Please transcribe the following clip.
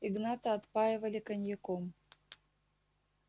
игната отпаивали коньяком